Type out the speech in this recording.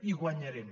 i guanyarem